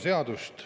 Business as usual.